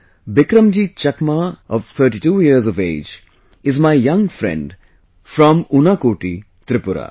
Bikramjit Chakma of 32 years of age is my young friend from Unakoti, Tripura